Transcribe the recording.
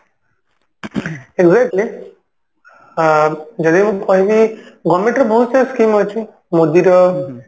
seriously ଆ ଯଦି ମୁଁ କହିବି government ର ବହୁତ ସାରା scheme ଅଛି ମୋଦୀ ର